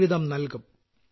ജീവിതം നൽകും